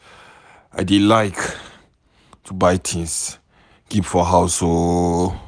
I dey like to buy things keep for house too